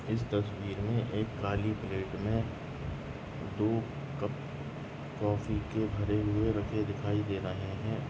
इस तस्वीर मे एक काली प्लेट मे दो कप कॉफ़ी के भरे हुए रखे दिखाई दे रहे है।